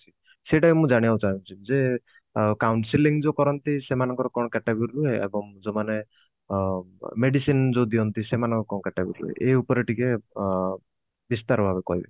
ସେଟା ବି ଜାଣିବାକୁ ଚାହୁଁଛି ଯେ ଅ counselling ଯୋଉ କରନ୍ତି ସେମାନଙ୍କର କଣ category ରୁହେ ଏବଂ ଯୋଉମାନେ ଅ medicine ଯୋଉ ଦିଅନ୍ତି ସେମାନଙ୍କ କଣ category ଏଇ ଉପରେ ଟିକେ ଅ ବିସ୍ତାର ଭାବେ କହିବେ